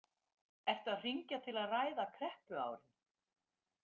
Ertu að hringja til að ræða kreppuárin?